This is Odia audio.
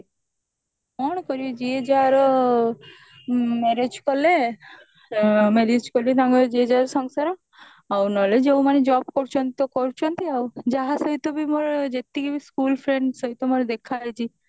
କଣ କରିବେ ଯିଏ ଯାହାର ଆଁ marriage କଲେ ଆଁ marriage କରି ତାଙ୍କର ଯିଏ ଯାହାର ସଂସାର ଆଉ ନହେଲେ ଯୋଉମାନେ ଜବ କରୁଛନ୍ତି ତ କରୁଛନ୍ତି ଆଉ ଯାହା ସହିତ ବି ମୋର ଯେତିକି ବି school friend ସହିତ ମୋର ଦେଖା ହେଇଛି